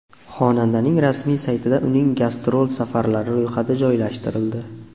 Xonandaning rasmiy saytida uning gastrol safarlari ro‘yxati joylashtirildi .